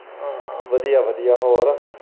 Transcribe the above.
ਹਾਂ ਵਧੀਆ-ਵਧੀਆ ਹੋਰ।